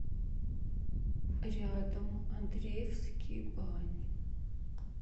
рядом андреевские бани